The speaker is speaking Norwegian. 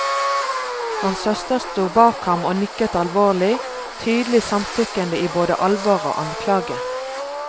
Hans søster sto bak ham og nikket alvorlig, tydelig samtykkende i både alvor og anklage.